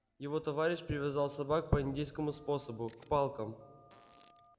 его товарищ привязал собак по индейскому способу к палкам